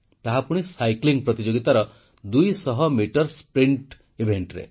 ତାହାପୁଣି cycle ଚାଳନା ପ୍ରତିଯୋଗିତାର 200 metre ଇଭେଂଟରେ